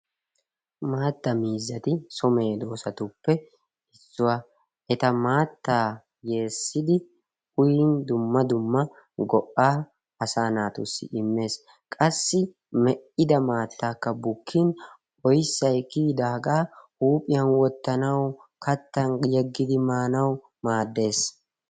Maatta miizati so meedoosatuppe issuwaa ete maattaa yeessidi uyin dumma dumma go'aa asaa naatussi immes. Qassi me'ida maattaakka bukkin oyissay kiyidaagaa huuphiyan wottanaw, kattan yeggidi maanawu maaddes.